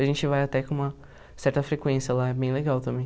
A gente vai até com uma certa frequência lá, é bem legal também.